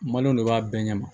maliyɛnw de b'a bɛɛ ɲɛma